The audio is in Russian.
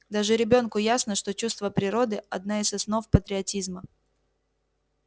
даже ребёнку ясно что чувство природы одна из основ патриотизма